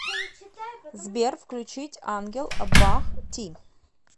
сбер включить ангел бах ти